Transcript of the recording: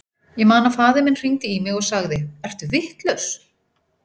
Ég man að faðir minn hringdi í mig og sagði, ertu vitlaus?